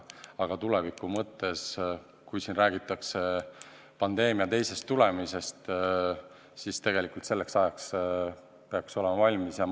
Aga tuleviku mõttes, jah, siin räägitakse ju ka pandeemia teisest tulemisest ja tegelikult peaks selleks ajaks asi valmis olema.